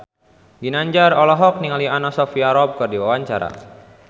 Ginanjar olohok ningali Anna Sophia Robb keur diwawancara